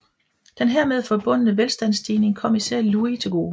Den hermed forbundne velstandsstigning kom især Louis til gode